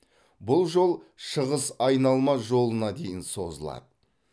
бұл жол шығыс айналма жолына дейін созылады